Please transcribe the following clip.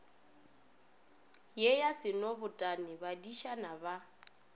ye ya senobotwane badišana ba